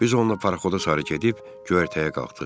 Biz onunla paraxoda sarı gedib göyərtəyə qalxdıq.